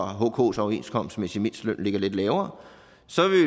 hks overenskomstmæssige mindsteløn ligger lidt lavere